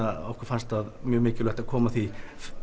okkur fannst mikilvægt að koma því